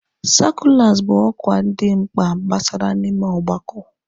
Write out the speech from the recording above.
sakụlas bụ ọkwa dị mkpa gbasara n'ime ọgbakọ.